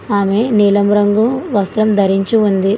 ఆమె నీలం రంగు వస్త్రం ధరించి ఉంది.